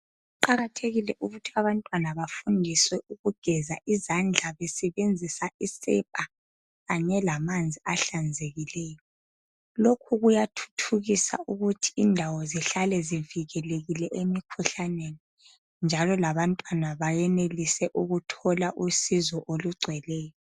Kuqakathekile ukuthi abantwana bafundiswe ukugeza izandla besebenzisa isepa kanye lamanzi ahlanzekileyo lokhu kuyathuthukisa ukuthi indawo zihlale zivikilekile emkhuhlaneni njalo labantwana bayenelise ukuthola usizo olugcweleyo.